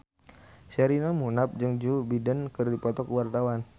Sherina Munaf jeung Joe Biden keur dipoto ku wartawan